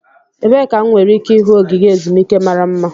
Ebee ka m nwere ike ịhụ ogige ezumike mara mma?